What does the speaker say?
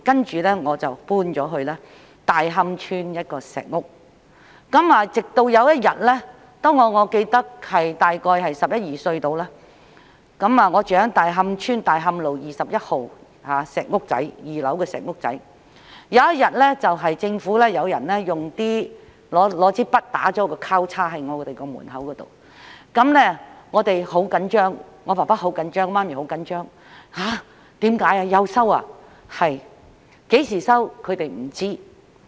接着，我們便遷到大磡村一間石屋，直至有一天——我記得大約在十一二歲時，我住在大磡村大磡道21號一間小石屋的2樓——有政府人員在我們的門外用筆畫了一個交叉，我們便很緊張，我父母很緊張，知道政府又要收回土地。